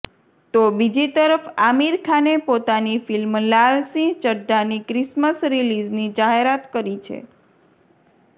તો બીજી તરફ આમિર ખાને પોતાની ફિલ્મ લાલસિંહ ચઢ્ઢાની ક્રિસમસ રિલીઝની જાહેરાત કરી છે